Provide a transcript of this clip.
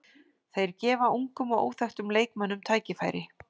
Þeir gefa ungum og óþekktum leikmönnum tækifæri.